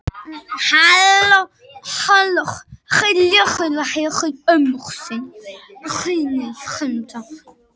Halló, halló Lilla heyrði í ömmu sinni á hinum endanum.